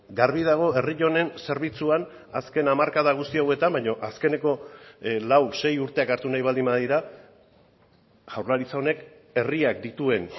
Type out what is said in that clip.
garbi dago herri honen zerbitzuan azken hamarkada guzti hauetan baino azkeneko lau sei urteak hartu nahi baldin badira jaurlaritza honek herriak dituen